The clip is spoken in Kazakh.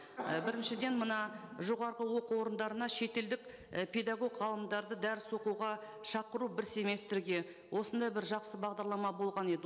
і біріншіден мына жоғарғы оқу орындарына шетелдік і педагог ғалымдарды дәріс оқуға шақыру бір семестрге осындай бір жақсы бағдарлама болған еді